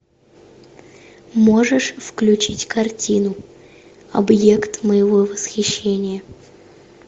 можешь включить картину объект моего восхищения